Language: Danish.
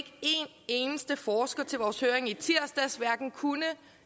eneste forsker til vores høring i tirsdags kunne